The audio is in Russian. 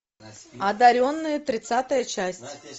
одаренные тридцатая часть